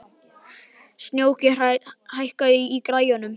Snjóki, hækkaðu í græjunum.